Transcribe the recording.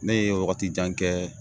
Ne ye wagati jan kɛ